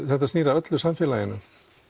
þetta snýr að öllu samfélaginu